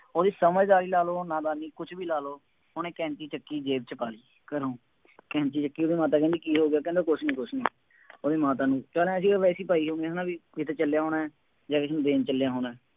ਉਹਦੀ ਸਮਝਦਾਰੀ ਲਾ ਲ਼ਉ, ਨਾਦਾਨੀ, ਕੁੱਛ ਵੀ ਲਾ ਲਉ। ਉਹਨੇ ਕੈਂਚੀ ਚੱਕੀ, ਜੇਬ ਚ ਪਾ ਲਈ ਘਰੋਂ ਕੈਂਚੀ ਚੱਕੀ, ਉਹਦੀ ਮਾਤਾ ਕਹਿੰਦੀ ਕੀ ਹੋ ਗਿਆ, ਕਹਿੰਦਾ ਕੁੱਛ ਨਹੀਂ ਕੁੱਛ ਨਹੀਂ, ਉਹਦੀ ਮਾਤਾ ਨੂੰ, ਚੱਲ ਆਂਏਂ ਸੀਗਾ ਵੈਸੇ ਹੀ ਪਾਈ ਹੋਊਗੀ ਹੈ ਨਾ ਬਈ ਕਿਤੇ ਚੱਲਿਆ ਹੋਣਾ, ਜਾਂ ਕਿਸੇ ਨੂੰ ਦੇਣ ਚੱਲਿਆ ਹੋਣਾ।